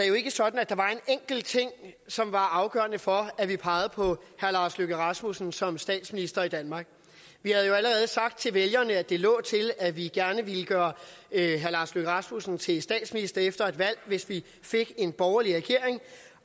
jo ikke er sådan at der var en enkelt ting som var afgørende for at vi pegede på herre lars løkke rasmussen som statsminister i danmark vi havde jo allerede sagt til vælgerne at det lå til at vi gerne ville gøre herre lars løkke rasmussen til statsminister efter et valg hvis vi fik en borgerlig regering